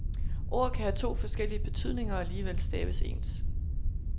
Ord kan have to forskellige betydninger, og alligevel staves ens.